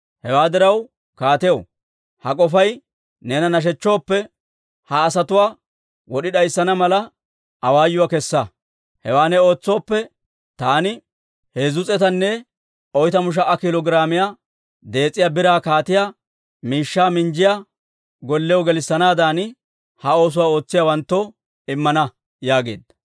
Hewaa diraw kaatiyaw, ha k'ofay neena nashechchooppe, ha asatuwaa wod'i d'ayssana mala, awaayuwaa kessa. Hewaa ne ootsooppe, taani 340,000 kiilo giraamiyaa dees'iyaa biraa kaatiyaa miishshaa minjjiyaa gollew gelissanaadan, ha oosuwaa ootsiyaawanttoo immana» yaageedda.